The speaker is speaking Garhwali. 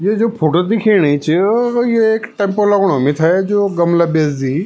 ये जो फोटो दिखेणी च अ ये एक टेम्पो लगणु मिथे जू गमला बेचदी।